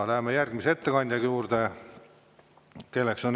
Läheme järgmise ettekande juurde.